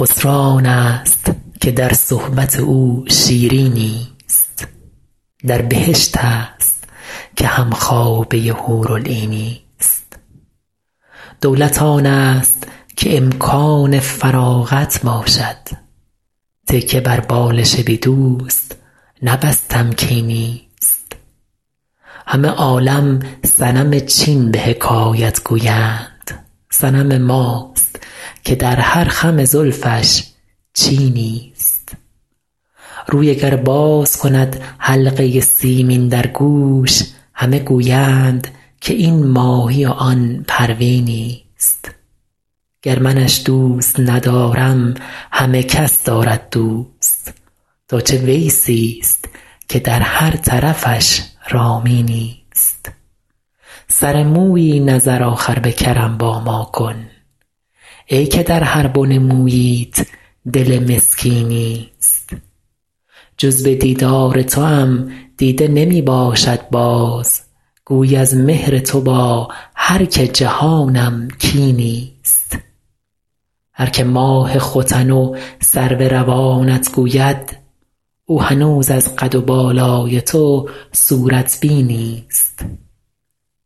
خسرو آنست که در صحبت او شیرینی ست در بهشت است که هم خوابه حورالعینی ست دولت آنست که امکان فراغت باشد تکیه بر بالش بی دوست نه بس تمکینی ست همه عالم صنم چین به حکایت گویند صنم ماست که در هر خم زلفش چینی ست روی اگر باز کند حلقه سیمین در گوش همه گویند که این ماهی و آن پروینی ست گر منش دوست ندارم همه کس دارد دوست تا چه ویسی ست که در هر طرفش رامینی ست سر مویی نظر آخر به کرم با ما کن ای که در هر بن موییت دل مسکینی ست جز به دیدار توام دیده نمی باشد باز گویی از مهر تو با هر که جهانم کینی ست هر که ماه ختن و سرو روانت گوید او هنوز از قد و بالای تو صورت بینی ست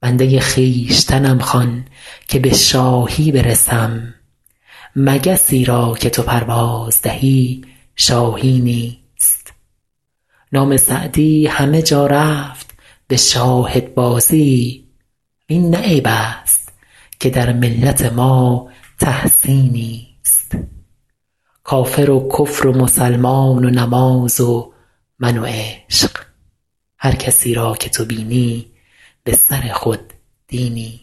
بنده خویشتنم خوان که به شاهی برسم مگسی را که تو پرواز دهی شاهینی ست نام سعدی همه جا رفت به شاهدبازی وین نه عیب است که در ملت ما تحسینی ست کافر و کفر و مسلمان و نماز و من و عشق هر کسی را که تو بینی به سر خود دینی ست